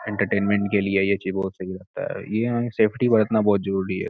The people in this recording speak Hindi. एंटरटेनमेंट के लिए ये चीज बहुत सही रहता है ये सेफ्टी बरतना बहुत जरूरी है।